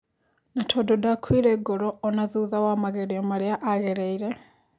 Na tondũ ndakuire ngoro ona thutha wa magerio marĩa a gereire.